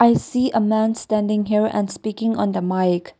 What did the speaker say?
see a man standing here and speaking on the mike.